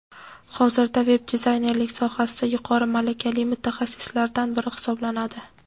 hozirda veb-dizaynerlik sohasida yuqori malakali mutaxassislardan biri hisoblanadi.